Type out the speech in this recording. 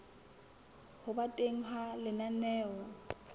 ho ba teng ha lenaneo